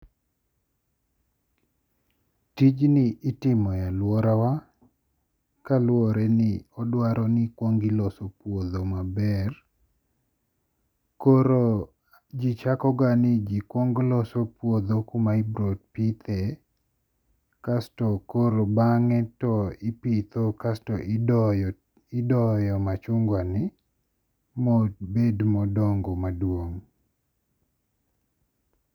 Tijni itimo e aluorawa kaluwore ni odwaro ni ikuongo iloso puodho maber koro ji chakoga ni jikuongo loso puodho kuma ibiro pithe kasto koro bang'e to ipitho kaeto idoyo machungwani ma obed modongo maduong'.